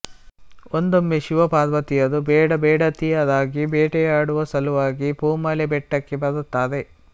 ಒಂದೊಮ್ಮೆ ಶಿವ ಪಾರ್ವತಿಯರು ಬೇಡಬೇಡತಿಯರಾಗಿ ಬೇಟೆಯಾಡುವ ಸಲುವಾಗಿ ಪೂಮಲೆ ಬೆಟ್ಟಕ್ಕೆ ಬರುತ್ತಾರೆ